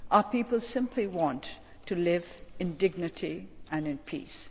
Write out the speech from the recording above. Our people simply want to live in dignity and in peace.